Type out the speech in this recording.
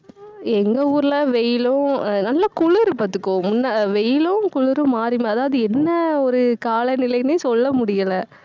எங்க ஊர்ல வெயிலும் அஹ் நல்ல குளிரு பாத்துக்கோ முன்ன அஹ் வெயிலும் குளிரும் மாறி மா~, அதாவது என்ன ஒரு காலநிலைன்னே சொல்ல முடியல